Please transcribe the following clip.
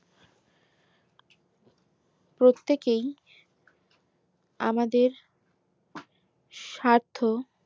প্রত্যেকেই আমাদের স্বার্থ